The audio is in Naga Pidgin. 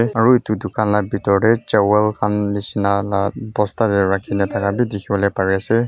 aro etu tukan laga bitor dae chawal khan nishina bosta dae rakikina taka bi dikipolae pari asae.